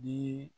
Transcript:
Ni